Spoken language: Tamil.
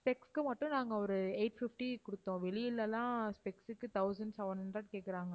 specs க்கு மட்டும் நாங்க ஒரு eight fifty கொடுத்தோம். வெளியில எல்லாம் specs உக்கு thousand seven hundred கேட்கறாங்க.